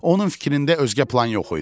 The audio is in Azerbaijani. Onun fikrində özgə plan yox idi.